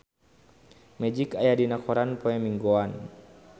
Magic aya dina koran poe Minggon